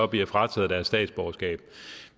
bliver frataget deres statsborgerskab